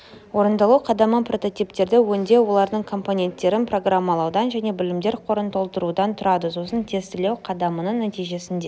орындалу қадамы прототиптерді өңдеу олардың компоненттерін программалаудан және білімдер қорын толтырудан тұрады сосын тестілеу қадамының нәтижесінде